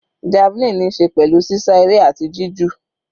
Javelin níí ṣe pẹ̀lú sísá eré àti jí jù.